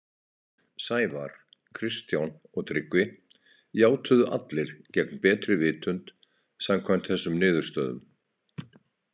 Sævar, Kristján og Tryggvi játuðu allir gegn betri vitund, samkvæmt þessum niðurstöðum.